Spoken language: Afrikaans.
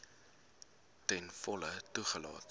ten volle toegelaat